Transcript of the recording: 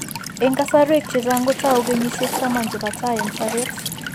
Eng' kasarwek chechang' kotau kenyisiek taman che po tai eng' sobet.